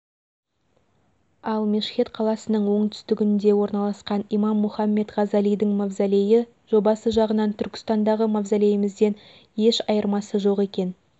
ал мешхед қаласының оңтүстігінде орналасқан имам мұхаммед ғазалидің мавзолейі жобасы жағынан түркістандағы мазолейімізден еш айырмасы жоқ екен